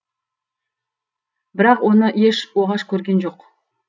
бірақ оны еш оғаш көрген жоқ